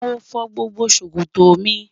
Mo fọ́ gbogbo sọ̀kọ̀tọ́ mi